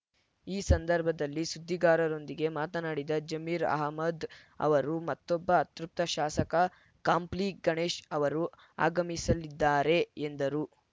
ಈ ಸಂದರ್ಭದಲ್ಲಿ ಸುದ್ದಿಗಾರರೊಂದಿಗೆ ಮಾತನಾಡಿದ ಜಮೀರ್‌ ಅಹ್ಮದ್‌ ಅವರು ಮತ್ತೊಬ್ಬ ಅತೃಪ್ತ ಶಾಸಕ ಕಂಪ್ಲಿ ಗಣೇಶ್‌ ಅವರು ಆಗಮಿಸಲಿದ್ದಾರೆ ಎಂದರು